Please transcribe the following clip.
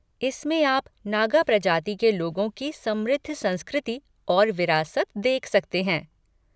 इसमें आप नागा प्रजाति के लोगों की समृद्ध संस्कृति और विरासत देख सकते हैं।